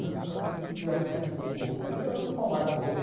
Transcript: Eu nunca fui tirar sangue do meu corpo, mas eu levava umas palmadas boas mesmo.